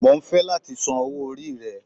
Mo ń fẹ́ láti san owó orí rẹ